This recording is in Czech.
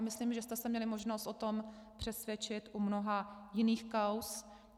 A myslím, že jste se měli možnost o tom přesvědčit u mnoha jiných kauz.